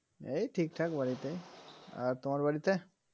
এই ঠিক ঠাক বাড়িতেই আর তোমার বাড়িতে